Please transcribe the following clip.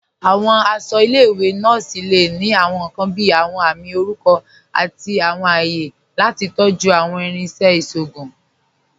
Awọn aṣọ ilẹ̀-iwe nọọsi le ni awọn nkan bíi awọn àmì orúkọ àti awọn àyẹ̀ lati tọ̀jú awọn irinṣẹ̀ iṣọgùn.